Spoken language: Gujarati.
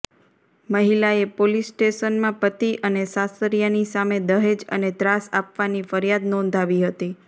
મહિલાએ પોલીસ સ્ટેશનમાં પતિ અને સાસરિયાની સામે દહેજ અને ત્રાસ આપવાની ફરિયાદ નોંધાવી હતી